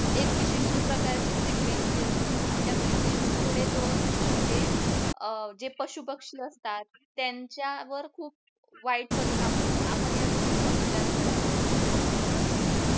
एक विशिष्ट प्रकारची frequency असते आणि त्या frequency मुळे जो जे पशुपक्षी असतात त्यांच्यावर खूप वाईट परिणाम होतो आपण या गोष्टीचा विचार करायला पाहिजे बरोबर ना